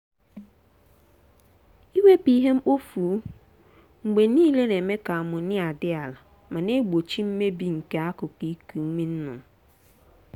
iwepụ ihe mkpofu mgbe niile na-eme ka amonia dị ala ma na-egbochi mmebị nke akụkụ iku ume nnụnụ.